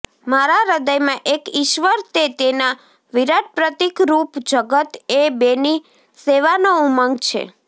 મારા હૃદયમાં એક ઈશ્વર ને તેના વિરાટ પ્રતીકરૂપ જગત એ બેની સેવાનો ઉમંગ છે